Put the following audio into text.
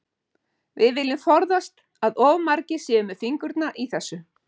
Við viljum forðast að of margir séu með fingurna í þessu.